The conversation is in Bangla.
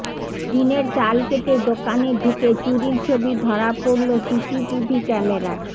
টিনের চাল কেটে দোকানে ঢুকে চুরির ছবি ধরা পড়ল সিসিটিভি ক্যামেরায়